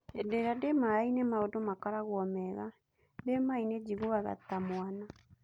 Hĩndĩria ndĩ maĩnĩ maũndũ makorogo mega, Ndĩ maĩnĩ njĩguaga ta mwana.